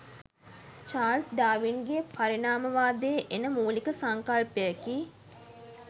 Charles ඩාවින්ගේ පරිණාමවාදයේ එන මූලික සංකල්පයකි